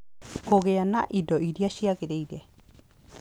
Kũgĩa na indo iria ciagĩrĩire